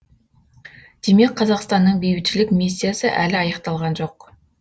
демек қазақстанның бейбітшілік миссиясы әлі аяқталған жоқ